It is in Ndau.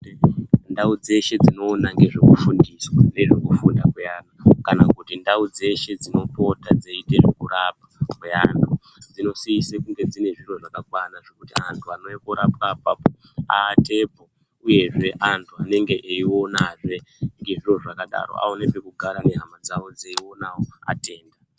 Ndau dzeshe dzinoona ngezvekufundisa nezvekufunda kweantu kana kuti ndau dzeshe dzinopota dzeiite zvekurapwa kweantu. Dzinosise kunge dzine zviro zvakakwana zvekuti antu anouya korapwa apapo aatepo . Uyezve antu anenge eyionazve ngezviro zvakadaro aone pekugara nehama dzawo dzeionawo atenda.